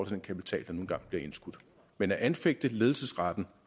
den kapital der nu engang bliver indskudt men at anfægte ledelsesretten